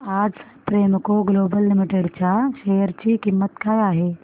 आज Premco global limited च्या share ची किंमत काय आहे